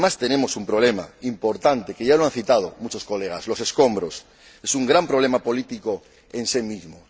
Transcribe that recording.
Y, además, tenemos un problema importante que ya han citado muchos colegas los escombros, que es un gran problema político en sí mismo.